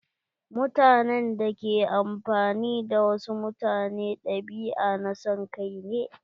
Mutanen da ke amfani da wasu mutane ɗabi'a na son kai ne.